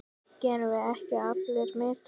Gerum við ekki allir mistök?